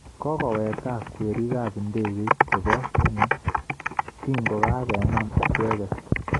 Kokoweek gaa kwerik ab ndegeit chebo Kenya kingogagenam icheget